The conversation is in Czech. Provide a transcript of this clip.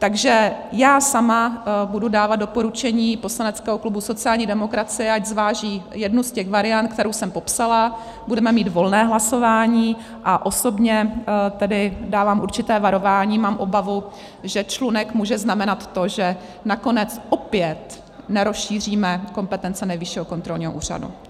Takže já sama budu dávat doporučení poslaneckého klubu sociální demokracie, ať zváží jednu z těch variant, kterou jsem popsala, budeme mít volné hlasování, a osobně tedy dávám určité varování, mám obavu, že člunek může znamenat to, že naopak opět nerozšíříme kompetence Nejvyššího kontrolního úřadu.